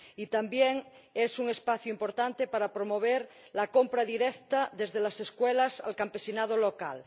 Y también es un espacio importante para promover la compra directa desde las escuelas al campesinado local.